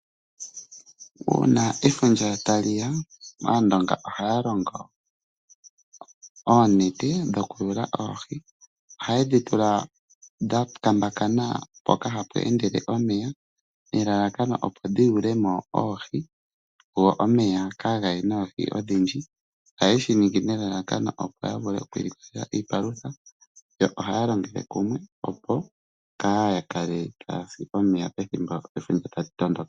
Uuna efundja tali ya aandonga ohaya longo oonete dhokuyula oohi. Ohaye dhitula dha kambakana mpoka hapu endele omeya nelalakano opo dhi yulemo oohi go omeya kaagaye noohi odhindji. Ohaye shi ningi nelalakano opo ya vule oku ilikolela iipalutha yo ohaya longele kumwe opo kaa yakale tayasi omeya ethimbo efundja tali tondoka.